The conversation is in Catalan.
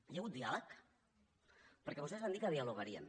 hi ha hagut diàleg perquè vostès van dir que dialogarien